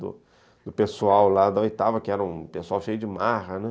Do pessoal lá da oitava, que era um pessoal cheio de marra, né?